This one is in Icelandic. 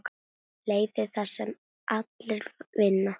Leiðir þar sem allir vinna.